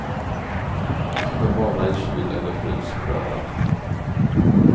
Förvara i kyl eller frys bröden.